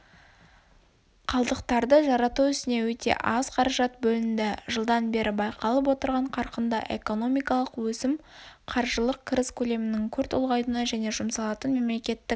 қалдықтарды жарату ісіне өте аз қаражат бөлінді жылдан бері байқалып отырған қарқынды экономикалық өсім қаржылық кіріс көлемінің күрт ұлғаюына және жұмсалатын мемлекеттік